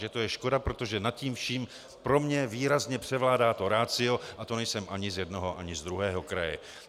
Že to je škoda, protože nad tím vším pro mě výrazně převládá to ratio a to nejsem ani z jednoho, ani z druhého kraje.